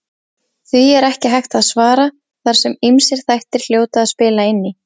Því er ekki hægt að svara þar sem ýmsir þættir hljóta að spila inn í.